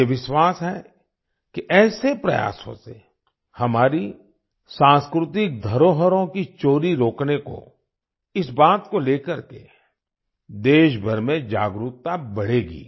मुझे विश्वास है कि ऐसे प्रयासों से हमारी सांस्कृतिक धरोहरों की चोरी रोकने को इस बात को ले करके देशभर में जागरूकता बढ़ेगी